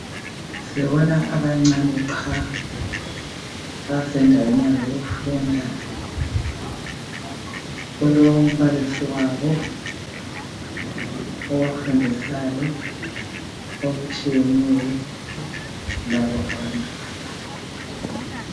Sibona abancane qha , basendaweni yabo yokufunda. Kulombalisi wabo obafundisayo okutshiyeneyo labo abantwana.